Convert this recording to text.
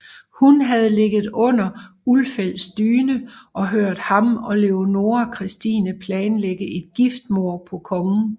Hun havde ligget under Ulfeldts dyne og hørt ham og Leonora Christina planlægge et giftmord på kongen